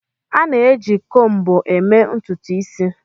A na-eji combo eme ututu isi